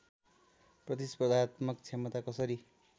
प्रतिस्पर्धात्मक क्षमता कसरी